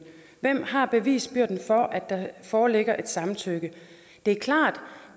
hvem har bevisbyrden for at der foreligger et samtykke det er klart at